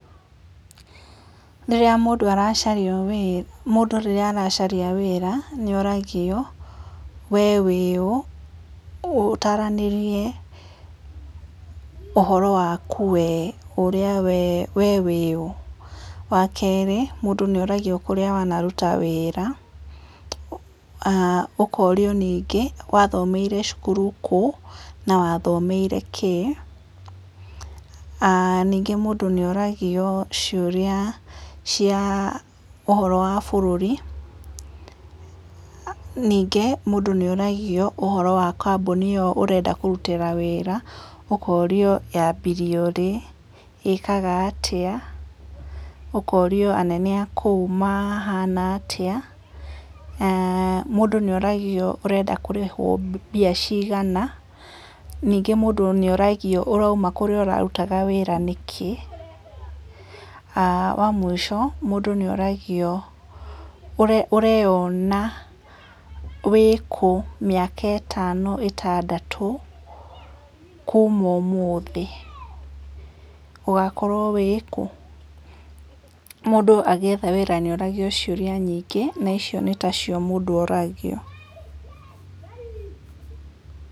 Rĩrĩa mũndũ aracaria, mũndũ rĩrĩa aracaria wĩra nĩ oragia we wĩ ũũ, ũtarĩrie ũhoro waku we wĩũ, wa kerĩ mũndũ nĩ ũragio kũrĩa wanaruta wĩra, ũkorio rĩngĩ wathomeire cukuru kũ, na wathomeire kĩ, ningĩ mũndũ nĩ oragia ciũria cia ũhoro wa bũrũri ningĩ mũndũ nĩ oragio ũhoro wa kambuni ĩyo ũrenda kũrutĩra wĩra ũkorio yambirio rĩ, ĩĩkaga atĩa, ũkorio anane akũu mahana atĩa, mũndũ nĩ oragia ũrenda kũrĩhwo mbeca cigana ningĩ mũndũ nĩ oragio ũrauma kũrĩa ũrarutaga wĩra nĩkĩ, wa mũico mũndũ nĩ oragio ũreyona wĩkũ mĩaka ĩtano, ĩtandatũ kuma ũmũthĩ, ũgakorwo wĩkũ, mũndũ agĩetha wĩra nĩ oragio ciũria nyingĩ na icio nĩ ta cio mũndũ oragio.